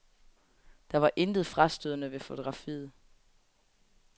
Der var intet frastødende ved fotografiet.